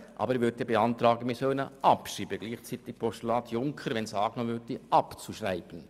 Aber ich beantrage, dass wir das Postulat Junker, wenn es angenommen würde, gleichzeitig abschreiben.